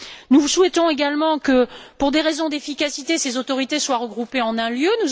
Nous souhaitons également que, pour des raisons d'efficacité, ces autorités soient regroupées en un lieu.